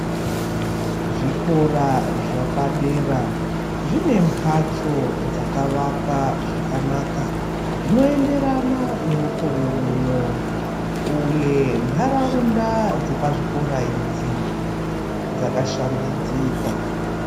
Zvikora zvepadera zvine mhatso dzakavakwa zvakanaka zvinoenderana nemukore uno uye ntaraunda dzepazvikora idzi dzakashambidzika.